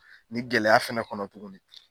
Nin gɛlɛya fana kɔnɔ tuguni.